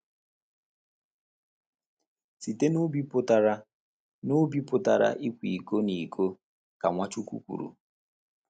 Site n’obi pụtara n’obi pụtara ịkwa iko na iko, ka Nwachukwu kwuru.